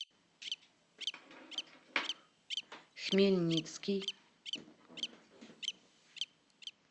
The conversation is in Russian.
хмельницкий